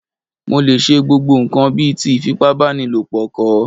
Mo lè ṣe gbogbo ǹkan bíi ti ìfipábánilo kọ̀